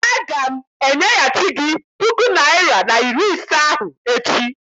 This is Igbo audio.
Aga m enyeghachi gị puku naịra na iri ise ahụ echi.